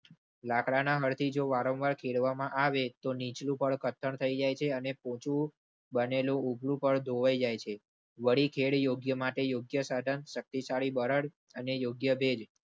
લાકડા ના હળ થી જો વારંવાર ખેડવામાં આવે તો નીચલું પડ જાય છે અને પોચી બનેલું પડ ધોવાઇ જાય છે. વાડી ખેડ યોગ્ય માટે યોગ્ય સાધન શક્તિશાળી બળદ અને યોગ્ય ભેજ.